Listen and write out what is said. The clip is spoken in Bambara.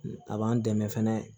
A b'an dɛmɛ fɛnɛ